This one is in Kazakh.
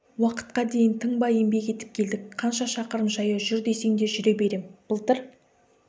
уақытқа дейін тынбай еңбек етіп келдік қанша шақырым жаяу жүр десең де жүре берем былтыр